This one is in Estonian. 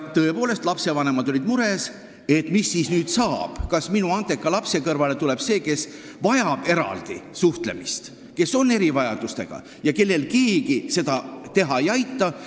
Tõepoolest, lastevanemad olid mures, et mis nüüd saab, kas minu andeka lapse kõrvale tuleb see, kes vajab eraldi suhtlemist, kes on erivajadustega ja keda keegi ei aita?